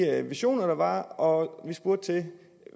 visioner der er og vi spurgte til